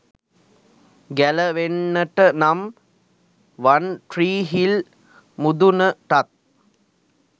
ගැලවෙන්නට නම් වන්ට්‍රීහිල් මුදුනටත්